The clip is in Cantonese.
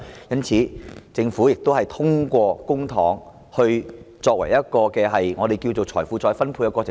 因此，政府通過公帑作一個我們稱為"財富再分配"的過程。